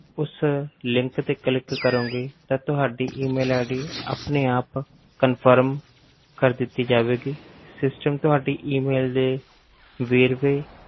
ਉਸ link ਤੇ click ਕਰੋਂਗੇ ਤਾਂ ਤੁਹਾਡੀ E mail ID ਆਪਣੇ ਆਪ confirm ਕਰ ਦਿੱਤੀ ਜਾਵੇਗੀ system ਤੁਹਾਡੀ E mail ਦੇ ਵੇਰਵੇ